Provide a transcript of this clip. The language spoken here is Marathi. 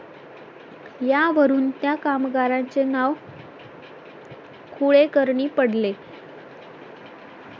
यावरून त्या कामगाराचे नाव कुळेकर्णी पडले